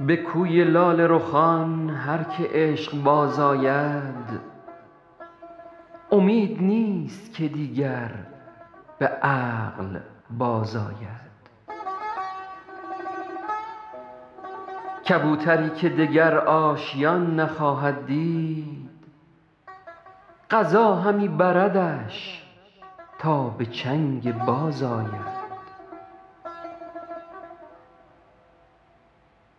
به کوی لاله رخان هر که عشق باز آید امید نیست که دیگر به عقل بازآید کبوتری که دگر آشیان نخواهد دید قضا همی بردش تا به چنگ باز آید